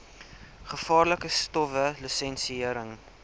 gevaarlike stowwe lisensiëring